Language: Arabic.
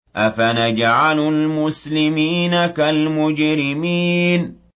أَفَنَجْعَلُ الْمُسْلِمِينَ كَالْمُجْرِمِينَ